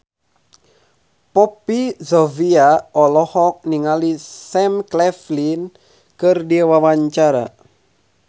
Poppy Sovia olohok ningali Sam Claflin keur diwawancara